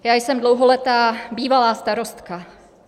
Já jsem dlouholetá bývalá starostka.